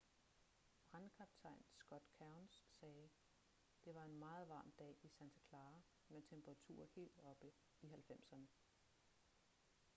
brandkaptajn scott kouns sagde: det var en meget varm dag i santa clara med temperaturer helt oppe i 90'erne